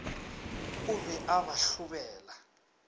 o be a ba hlobela